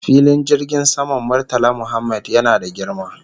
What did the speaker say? Filin jirgin saman Murtala Mohammed yana da girma